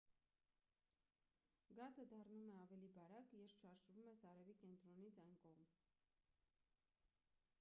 գազը դառնում է ավելի բարակ երբ շարժվում ես արևի կենտրոնից այն կողմ